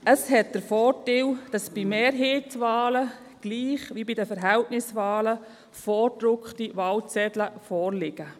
Dies hat den Vorteil, dass bei Mehrheitswahlen gleich wie bei den Verhältniswahlen vorgedruckte Wahlzettel vorliegen.